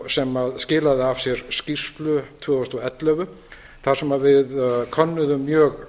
sem skilaði af sér skýrslu tvö þúsund og ellefu þar sem við kennurum mjög